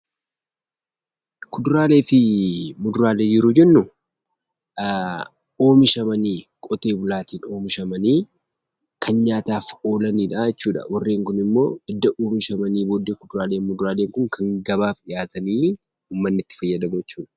Kuduraalee fi muduraalee yeroo jennu oomishamanii qotee bulaatiin oomishamanii kan nyaataaf oolanidhaa jechuudha. Warreen kunimmoo edda oomishamanii booddee kuduraaleef muduraaleen kun kan gabaaf dhiyaatanii uummanni itti fayyadamu jechuudha.